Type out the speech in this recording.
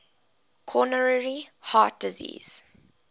coronary heart disease